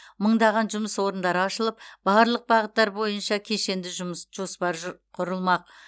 мыңдаған жұмыс орындары ашылып барлық бағыттар бойынша кешенді жұмыс жоспар жұ құрылмақ